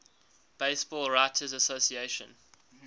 baseball writers association